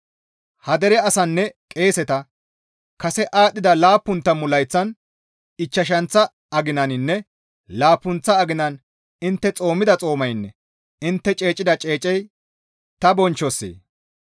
«Ha dere asaanne qeeseta, ‹Kase aadhdhida laappun tammu layththatan ichchashanththa aginaninne laappunththa aginan intte xoomida xoomaynne intte ceecida ceecey ta bonchchossee?